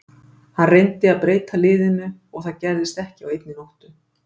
Hann reyndi að breyta liðinu og það gerist ekki á einni nóttu.